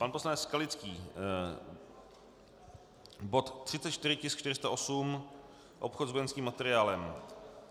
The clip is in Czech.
Pan poslanec Skalický, bod 34, tisk 408, obchod s vojenským materiálem.